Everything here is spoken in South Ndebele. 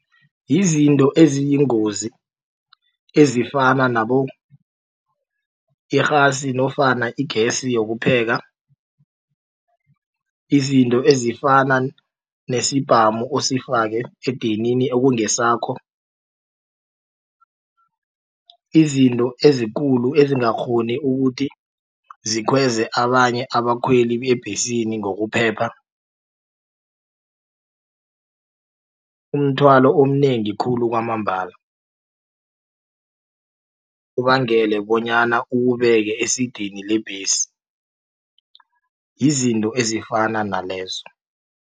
Yizinto eziyingozi ezifana nabo irhasi nofana igesi yokupheka izinto ezifana nesibhamu osifake edinini ekungesakho. Izinto ezikulu ezingakghoni ukuthi zikhweze abanye abakhweli ebhesini ngokuphepha. Umthwalo omnengi khulu kwamambala ubangele bonyana uwubeke esidini lebhesi yizinto ezifana nalezo.